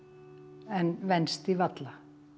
en venst því varla